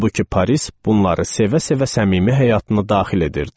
Halbuki Paris bunları sevə-sevə səmimi həyatına daxil edirdi.